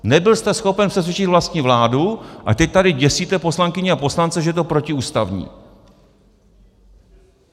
Nebyl jste schopen přesvědčit vlastní vládu a teď tady děsíte poslankyně a poslance, že je to protiústavní.